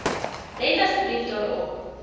let asseblief daarop